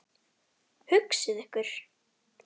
Hugsið ykkur.